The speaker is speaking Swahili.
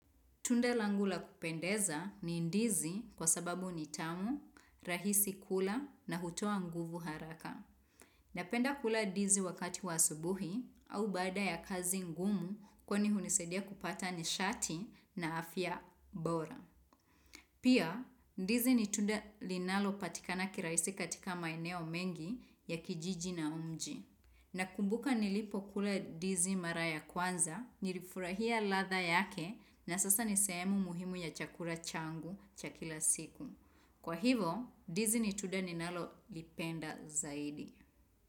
Tunda langu la kupendeza ni ndizi kwa sababu ni tamu, rahisi kula na hutupa nguvu haraka. Napenda kula ndizi wakati wa asubuhi au baada ya kazi ngumu kwani hunisadia kupata nishati na afya bora. Pia ndizi ni tunda linalo patikana kirahisi katika maeneo mengi ya kijiji na mji. Nakumbuka nilipo kula ndizi mara ya kwanza, nilifurahia ladha yake na sasa nisehemu muhimu ya chakula changu cha kila siku. Kwa hivo, ndizi ni tunda ninalolipenda zaidi.